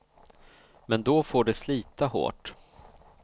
Men då får de slita hårt.